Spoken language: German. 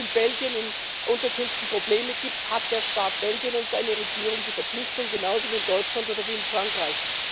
Wenn es in Belgien in Unterkünften Probleme gibt, hat der Staat Belgien und seine Regierung die Verpflichtung, genauso wie in Deutschland oder wie in Frankreich.